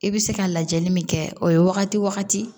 I bɛ se ka lajɛli min kɛ o ye wagati wagati